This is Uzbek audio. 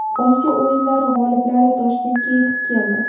Osiyo o‘yinlari g‘oliblari Toshkentga yetib keldi.